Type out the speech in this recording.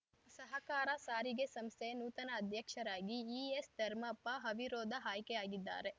ಸಹಕಾರ ಸಾರಿಗೆ ಸಂಸ್ಥೆಯ ನೂತನ ಅಧ್ಯಕ್ಷರಾಗಿ ಈಎಸ್‌ ಧರ್ಮಪ್ಪ ಅವಿರೋಧ ಆಯ್ಕೆಯಾಗಿದ್ದಾರೆ